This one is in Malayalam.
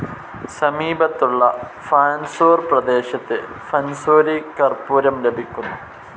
സമീപത്തുള്ള ഫാൻസൂർ പ്രദേശത്ത് ഫൻസൂരി കർപ്പൂരം ലഭിക്കുന്നു.